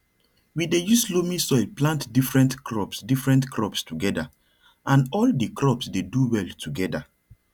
we dey use loamy soil plant different crops different crops together and all di crops dey do well together